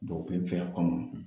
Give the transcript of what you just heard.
Dɔgɔkɛ cɛa kama